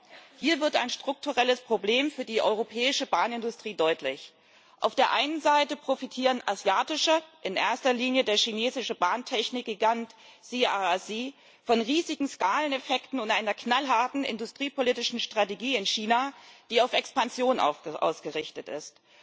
Dennoch Hier wird ein strukturelles Problem für die europäische Bahnindustrie deutlich. Auf der einen Seite profitieren asiatische Firmen in erster Linie der chinesische Bahntechnikgigant CRRC von riesigen Skaleneffekten und einer knallharten industriepolitischen Strategie in China, die auf Expansion ausgerichtet ist.